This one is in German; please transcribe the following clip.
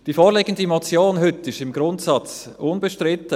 Die vorliegende Motion von heute ist im Grundsatz unbestritten.